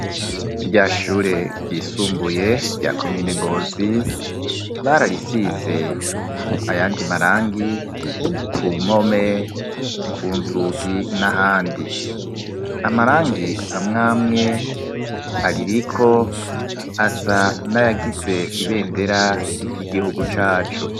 Rya shure ryisumbuye rya komine Ngozi, bararisize ayandi marangi ku mpome, ku nzugi n'ahandi. Amarangi amwamwe aririko asa nayagize ibendera ry'igihugu cacu.